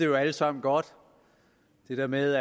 jo alle sammen godt det der med